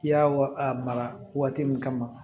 I y'a wa a mara waati min kama